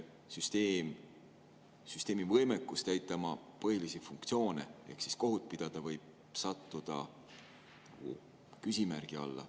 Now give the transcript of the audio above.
Süsteemi võimekus täita oma põhilisi funktsioone ehk kohut pidada võib sattuda küsimärgi alla …